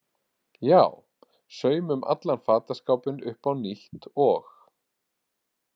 Já, saumum allan fataskápinn upp á nýtt og.